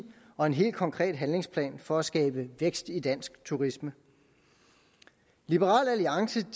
og en helt konkret handlingsplan for at skabe vækst i dansk turisme liberal alliance